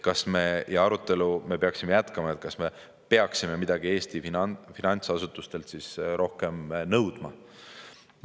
Me peaksime jätkama arutelu, kas me peaksime midagi Eesti finantsasutustelt rohkem nõudma.